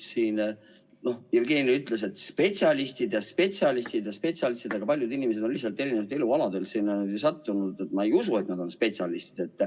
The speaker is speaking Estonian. Siin Jevgeni ütles, et spetsialistid ja spetsialistid ja spetsialistid, aga paljud inimesed on lihtsalt erinevatelt elualadelt sinna sattunud, nii et ma ei usu, et nad on spetsialistid.